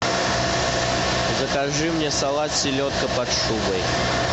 закажи мне салат селедка под шубой